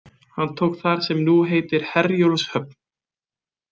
Hann tók þar sem nú heitir Herjólfshöfn.